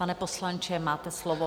Pane poslanče, máte slovo.